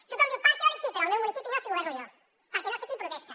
tothom diu parc eòlic sí però al meu municipi no si governo jo perquè no sé qui protesta